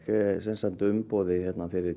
umboðið fyrir